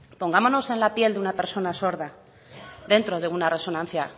pongámonos en la piel de una persona sorda dentro de una resonancia